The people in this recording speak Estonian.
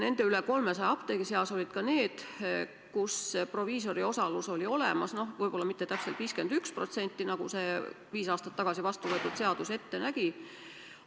Nende rohkem kui 300 apteegi seas olid ka need, kus proviisori osalus oli olemas, no võib-olla küll mitte täpselt 51%, nagu viis aastat tagasi vastu võetud seadus ette nägi.